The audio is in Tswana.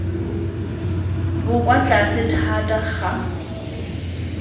bo kwa tlase thata ga